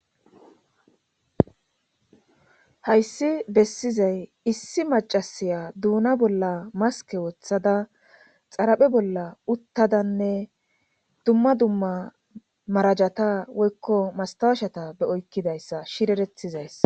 Hayssi bessizay issi macasiya duuna bolla maske wothada xaraphe bolla uttadanne dumma dumma marajata woykko mastawashata be oykkidayssa shirerethizayssa.